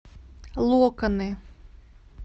локоны